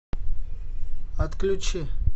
отключи